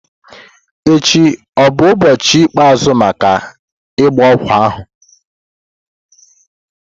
echi ọ bụ ụbọchị ikpeazụ maka ịgba ogwu ahụ?